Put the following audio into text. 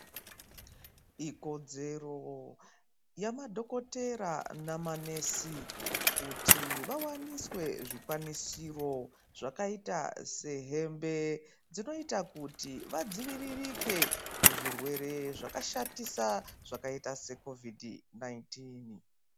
Ikodzero yamadokotora namanesi kuti vawaniswe zvikwanisiro zvakaita sehembe dzinoita kuti vadziviririke kuzvi zvirwere zvakashatisa zvakaita Secovid 19 .